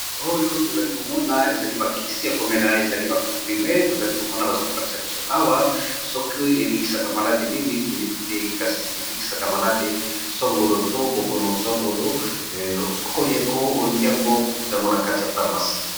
Oyo to zali ko mona ezali ba kisi ya ko mela ezali bavcomprime to zali ko mona baza ko lakisa biso awa soki e bikisaka malade nini to yebi te. Kasi e bikisaka malade songolo to bokono songolo, sokoli yango o lingi yango oko kuta ngo na kati ya pharmacie .